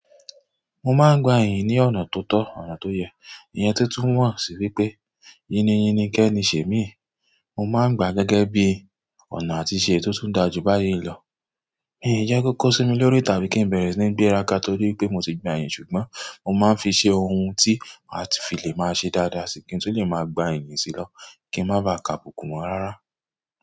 Mo ma n gba èyí ni ọ̀nà tótọ́, ọ̀nà tó yẹ, ìyẹn tó túmọ̀ sí wípé yini yini kẹ́ni ṣè míì. Mo máa ń gbàá gẹ́gẹ́ bí ọ̀nà àtiṣe èyí tó tún dáa jù báyìí lọ. Mi ò jẹ́ kó kó sími lórí tàbí kí n bẹ̀rẹ̀ sí ní gbéra ká torí pé mo ti gba èyìn ṣùgbọ́n mo máa ń fi ṣe ohun tí màá ti fi lè máa ṣe dáadáa sí i kí n tó lè máa gba èyìn sílọ́ kí n má ba à kà bùkù mó rárá.